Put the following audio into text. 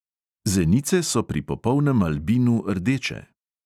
Zenice so pri popolnem albinu rdeče.